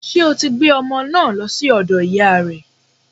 Ṣé o ti gbé ọmọ naa lọ sí ọ̀dọ̀ ìyáa rẹ̀?